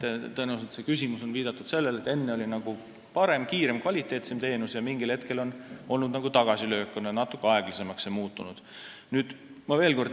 Tõenäoliselt on see küsimus tingitud sellest, et enne oli parem, kiirem ja kvaliteetsem teenus, aga mingil hetkel on tulnud tagasilöök, kuna kõik on muutunud natuke aeglasemaks.